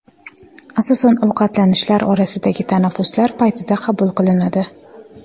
Asosan ovqatlanishlar orasidagi tanaffuslar paytida qabul qilinadi.